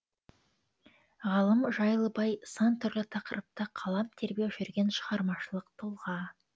ғалым жайлыбай сан түрлі тақырыпта қалам тербеп жүрген шығармашылық тұлға